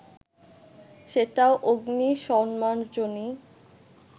সেটিও অগ্নি-সম্মার্জনী